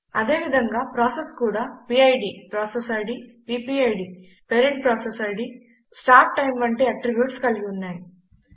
అదేవిధంగా ప్రాసెసెస్ కూడా PID process ID PPID parent process ID start time వంటి అట్రిబ్యూట్స్ కలిగి ఉన్నాయి